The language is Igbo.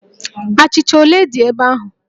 Achịcha ole dị ebe ahụ?